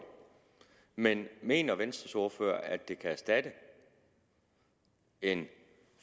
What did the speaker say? men mener venstres ordfører at det kan erstatte en